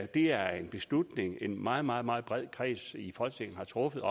det er en beslutning en meget meget meget bred kreds i folketinget har truffet